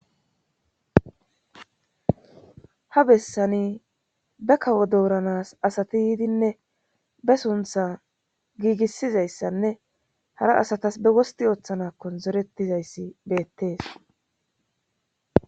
Ha bessani be kawo dooranas asati yiidinne be suntha giigissizayssanne hara asatas be wosti ooththanakkon zorettizayssi beettees